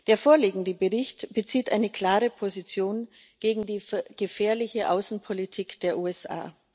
Der vorliegende Bericht bezieht eine klare Position gegen die gefährliche Außenpolitik der USA.